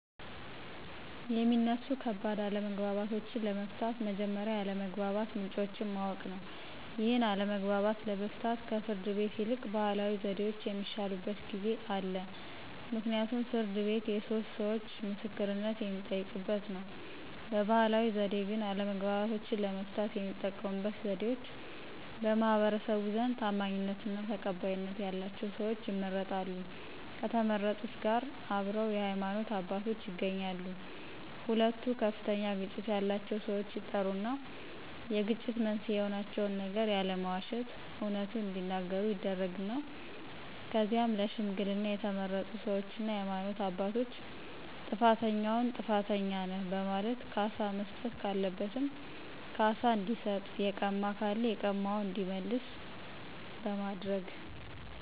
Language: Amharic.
የሚነሱ ከባድ አለመግባባቶችን ለመፍታት መጀመሪያ የአለመግባባት ምንጮችን ማወቅ ነው ይህን አለመግባባት ለመፍታት ከፍርድ ቤት ይልቅ ባህላዊ ዘዴዎች የሚሻሉበት ጊዜ አለ ምክንያቱም ፍርድ ቤት የሶስት ሰዎቾ ምስክርነት የሚጠየቅበት ነው። በባህላዊ ዘዴ ግን አለመግባባቶችን ለመፍታት የሚጠቀሙበት ዘዴዎች በማህበረሰቡ ዘንድ ታማኝነትና ተቀባይነት ያላቸው ሰዎች ይመረጣሉ ከተመረጡት ጋር አብረው የሃይማኖት አባቶች ይገኛሉ ሁለቱ ከፍተኛ ግጭት ያላቸው ሰዎች ይጠሩና የግጭት መንስኤ የሆናቸውን ነገር ያለመዋሸት አውነቱን እዲናገሩ ይደረግና ከዚያም ለሽምግልና የተመረጡ ሰዎችና የሃይማኖት አባቶች ጥፋተኛውን ጥፋተኛ ነህ በማለት ካሳ መስጠት ካለበትም ካሳ እንዲሰጥ የቀማ ካለ የቀማውን እንዲመልስ በማድረግ